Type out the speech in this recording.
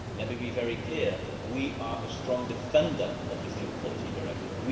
Let me be very clear, we are strong defenders of the Fuel Quality Directive.